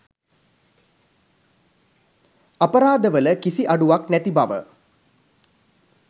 අපරාධවල කිසි අඩුවක් නැති බව